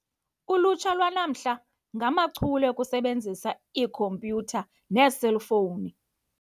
Ulutsha lwanamhla ngamachule okusebenzisa iikhompyutha neeselfowuni.